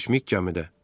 Kosmik gəmidə.